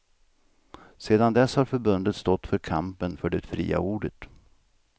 Sedan dess har förbundet stått för kampen för det fria ordet.